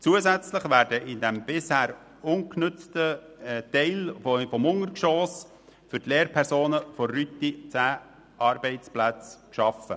Zusätzlich werden im bisher ungenutzten Teil des Untergeschosses für die Lehrpersonen der Rüti zehn Arbeitsplätze geschaffen.